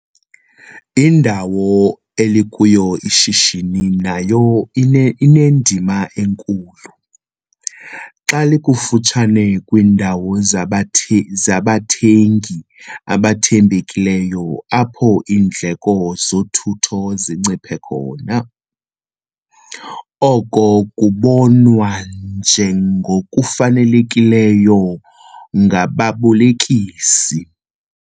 Indawo elikuyo ishishini nayo inendima enkulu - xa likufutshane kwiindawo zabathengi abathembekileyo apho iindleko zothutho zinciphe khona, oko kubonwa njengokufanelekileyo ngababolekisi.